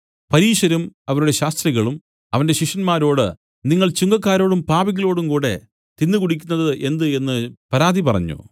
പരീശരും അവരുടെ ശാസ്ത്രികളും അവന്റെ ശിഷ്യന്മാരോട് നിങ്ങൾ ചുങ്കക്കാരോടും പാപികളോടും കൂടെ തിന്നുകുടിക്കുന്നത് എന്ത് എന്നു പരാതി പറഞ്ഞു